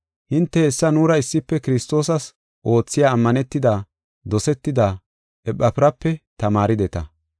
Hinte hessa nuura issife Kiristoosas oothiya ammanetida, dosetida Ephafirape tamaarideta.